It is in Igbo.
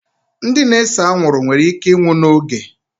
Ndị na-ese anwụrụ nwere íké ịnwụ n'oge